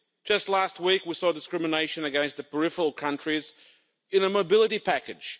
Just last week we saw discrimination against the peripheral countries in the mobility package.